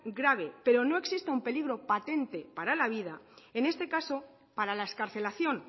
grave pero no exista un peligro patente para la vida en este caso para la excarcelación